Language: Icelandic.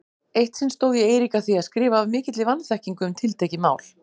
Eitt sinn stóð ég Eirík að því að skrifa af mikilli vanþekkingu um tiltekið mál.